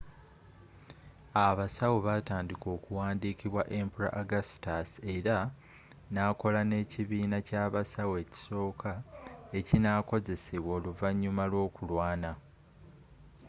abasawo batandika okuwandiikibwa emperor augustus era nakola n'ekibiina ky'abasawo ekisooka ekinakozesebwa oluvannyuma lw'okulwana